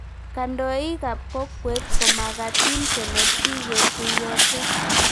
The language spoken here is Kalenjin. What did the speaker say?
Kandoik ab kokwet ko magatin kenet sikekuyoishe